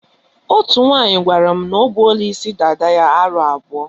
Otú nwaanyị gwara m na o buola isi dada ya aro abụọ.